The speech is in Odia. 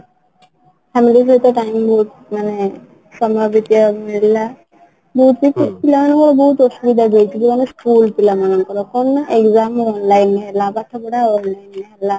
ରେ ଯେତେ time ମାନେ ସମୟ ବିତେଇବା ମିଳିଲା ବହୁତ ବହୁତ ଅସୁବିଧା ବି ହେଇଛି ଯୋଉ ଆମ ସ୍କୁଲ ପିଲାମାନଙ୍କର କଣ ନା exam online ହେଲା ପାଠପଢା online ରେ ହେଲା